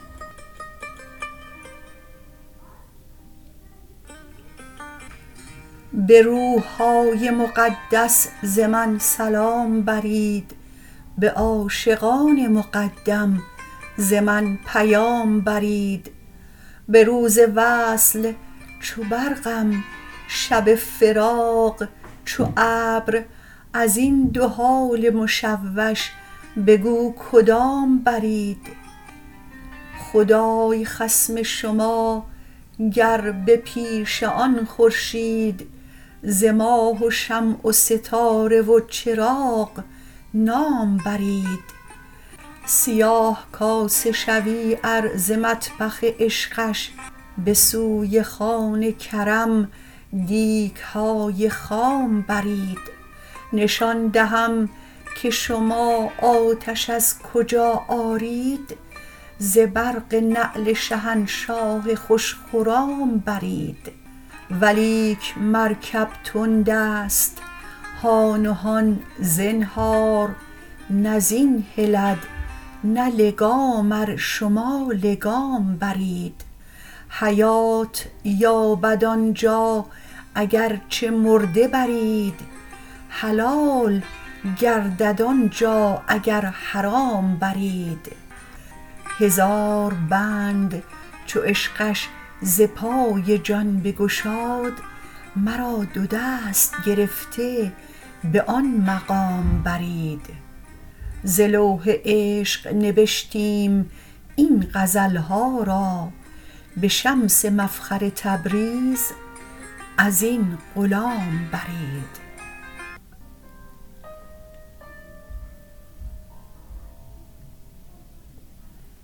به روح های مقدس ز من سلام برید به عاشقان مقدم ز من پیام برید به روز وصل چو برقم شب فراق چو ابر از این دو حال مشوش بگو کدام برید خدای خصم شما گر به پیش آن خورشید ز ماه و شمع و ستاره و چراغ نام برید سیاه کاسه شوی ار ز مطبخ عشقش به سوی خوان کرم دیگ های خام برید نشان دهم که شما آتش از کجا آرید ز برق نعل شهنشاه خوش خرام برید ولیک مرکب تندست هان و هان زنهار نه زین هلد نه لگام ار شما لگام برید حیات یابد آن جا اگر چه مرده برید حلال گردد آن جا اگر حرام برید هزار بند چو عشقش ز پای جان بگشاد مرا دو دست گرفته به آن مقام برید ز لوح عشق نبشتیم این غزل ها را به شمس مفخر تبریز از این غلام برید